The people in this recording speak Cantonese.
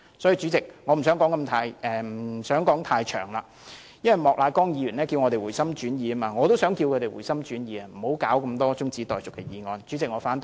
主席，我不想說太多了，莫乃光議員叫我們回心轉意，我也想呼籲他們回心轉意，不要提出這麼多中止待續的議案。